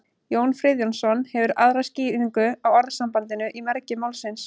jón friðjónsson hefur aðra skýringu á orðasambandinu í mergi málsins